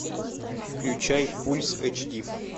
включай пульс эч ди